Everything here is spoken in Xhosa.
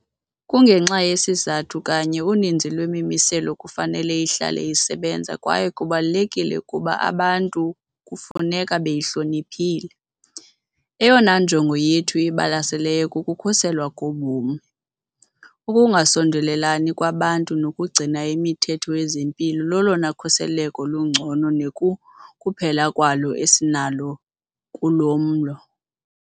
Kungenxa yeso sizathu kanye uninzi lwemimiselo kufanele ihlale isebenza kwaye kubalulekile ukuba abantu kufuneka beyihloniphile. Eyona njongo yethu ibalaseleyo kukukhuselwa kobomi. Ukungasondelelani kwabantu nokugcina imithetho yezempilo lolona khuseleko lungcono nekukuphela kwalo esinalo kulo mlo.